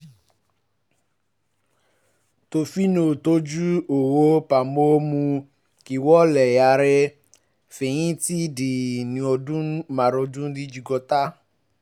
tó fi ń tọ́jú owó pa mọ́ mú kí wọ́n lè yára fẹyìntì ní ọdún márùndínlọ́gọ́ta